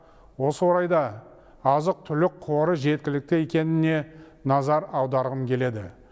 осы орайда азық түлік қоры жеткілікті екеніне назар аударғым келеді